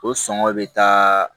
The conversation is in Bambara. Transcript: O sɔngɔ be taa